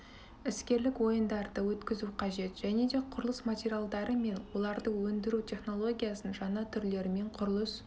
іскерлік ойындарды өткізу қажет және де құрылыс материалдары мен оларды өндіру технологиясының жаңа түрлерімен құрылыс